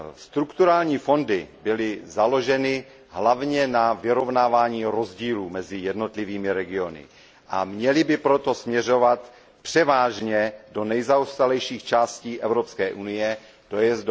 Strukturální fondy byly založeny hlavně na vyrovnávání rozdílů mezi jednotlivými regiony a měly by proto směřovat převážně do nejzaostalejších částí Evropské unie, tj.